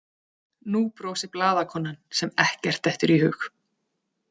Nú brosir blaðakonan sem ekkert dettur í hug.